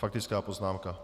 Faktická poznámka.